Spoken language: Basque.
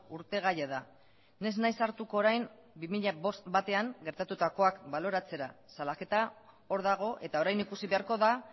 urte gaia da ni ez naiz sartuko orain bi mila bostean gertatukoak baloratzera salaketa hor dago eta orain ikusi beharko da